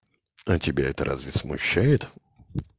а тебя это разве смущает